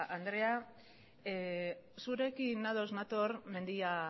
andrea zurekin ados nator mendia